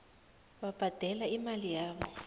babhadele imali yabo